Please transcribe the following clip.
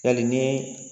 Yali ni